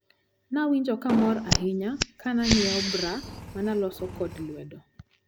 Nawinjo kamor ahinya kananyiewo bra manolos kod lwedo.